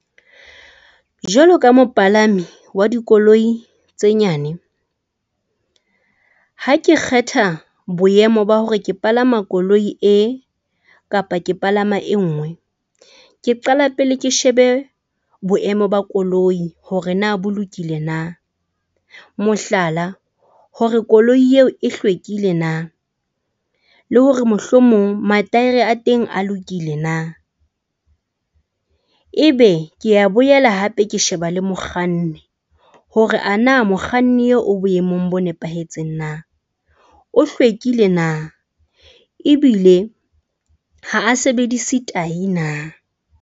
Jwalo ka mopalami wa dikoloi tse nyane, ha ke kgetha boemo ba hore ke palama koloi e kapa ke palama e nngwe, ke qala pele ke shebe boemo ba koloi hore na bolokile na. Mohlala, hore koloi eo e hlwekile na. Le hore mohlomong mataere a teng a lokile na, ebe ke a boela hape ke sheba le mokganni hore a na mokganni eo o boemong bo nepahetseng na. O hlwekile na ebile ha a sebedise tayi na.